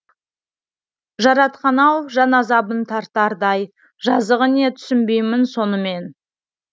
жаратқан ау жан азабын тартардай жазығы не түсінбеймін соны мен